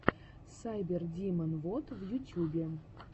сайбердимон вот в ютюбе